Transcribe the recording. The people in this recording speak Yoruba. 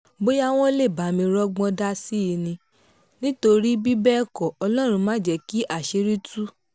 bóyá wọ́n lè bá mi rọ́gbọ́n dá sí i ni nítorí bí bẹ́ẹ̀ kọ́ ọlọ́run má jẹ́ kí àṣírí tú